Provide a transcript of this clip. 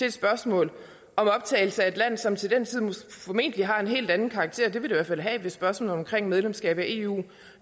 et spørgsmål om optagelse af et land som til den tid formentlig har en helt anden karakter det vil det i hvert fald have hvis spørgsmålet om medlemskab af eu